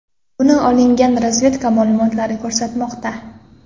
Buni olingan razvedka ma’lumotlari ko‘rsatmoqda”.